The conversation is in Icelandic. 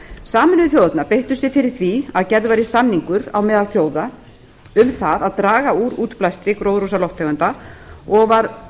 sameinuðu þjóðirnar beittu sér fyrir því að gerður væri samningur á meðal þjóða um það að draga úr útblæstri gróðurhúsalofttegunda og var